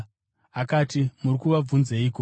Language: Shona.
Akati, “Muri kuvabvunzeiko?”